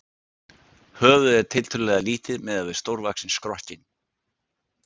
Höfuðið er tiltölulega lítið miðað við stórvaxinn skrokkinn.